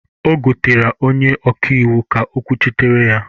Ọ gotara onye ọka iwu ga-ekwuchitara ya.